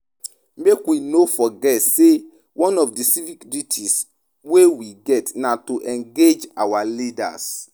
Make wey no forget sey one of di civic duties wey we get na to engage our leaders.